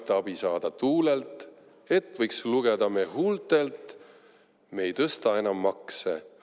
Aita abi saada tuulelt, et võiks lugeda me huultelt: me ei tõsta enam makse!